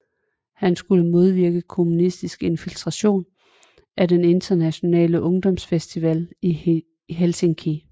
Han skulle modvirke kommunistisk infiltration af den Internationale Ungdomsfestival i Helsinki